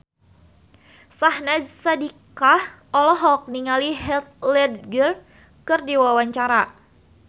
Syahnaz Sadiqah olohok ningali Heath Ledger keur diwawancara